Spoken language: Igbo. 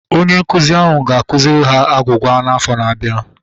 Onye nkụzi ahụ ga-akụziri ha agwugwa afọ na-abianu